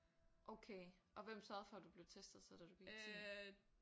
Okay og hvem sørgede for du blev testet så da du gik i tiende?